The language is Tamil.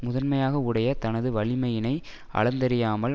முதன்மையாக உடைய தனது வலிமையினை அளந்தறியாமல்